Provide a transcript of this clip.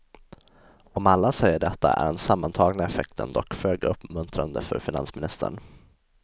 Om alla säger detta är den sammantagna effekten dock föga uppmuntrande för finansministern.